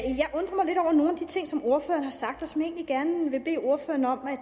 de ting som ordføreren har sagt og som jeg egentlig gerne vil bede ordføreren om at